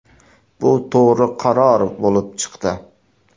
Bu to‘g‘ri qaror bo‘lib chiqdi.